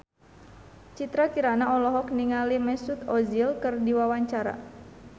Citra Kirana olohok ningali Mesut Ozil keur diwawancara